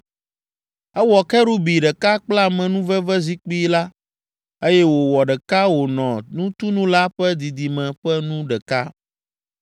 Ewɔ kerubi ɖeka kple amenuvevezikpui la, eye wòwɔ ɖeka wònɔ nutunu la ƒe didime ƒe nu ɖeka.